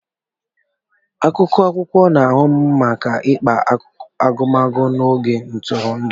Akụkụ akwụkwọ na-ahụ maka mkpa agụmakwụkwọ na oge ntụrụndụ.